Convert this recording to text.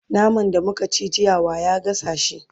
naman da muka ci jiya wa ya gasa shi?